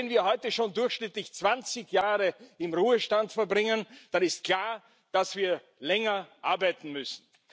Und wenn wir heute schon durchschnittlich 20 Jahre im Ruhestand verbringen, dann ist klar, dass wir länger arbeiten müssen.